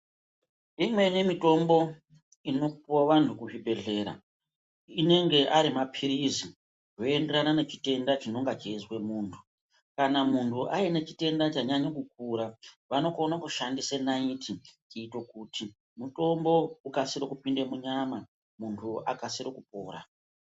Imweni mitombo inopuwa vantu kuzvibhedhlera inenge ari mapilizi zvinoenderana nechitenda chinonga cheizwa muntu, kana muntu aine chitenda chanyanya kukura vanokone kushandise naiti kuite kuti mutombo ukasire kupinde munyama muntu akasire kupora.